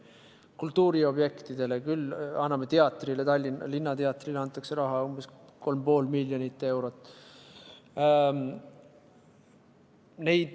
Kultuuriobjektidele anname raha: Tallinna Linnateatrile antakse umbes 3,5 miljonit eurot.